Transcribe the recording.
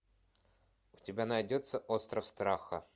у тебя найдется остров страха